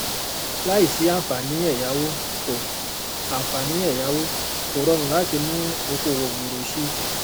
láìsí àǹfààní ẹyáwó kò àǹfààní ẹyáwó kò rọrùn láti mú okòòwò gbòòrò si